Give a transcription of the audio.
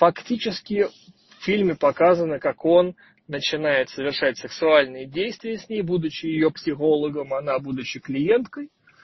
фактически в фильме показано как он начинает совершать сексуальные действия с ней будучи её психологом она будучи клиенткой